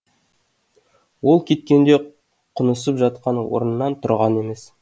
ол кеткенде құнысып жатқан орнынан тұрған емес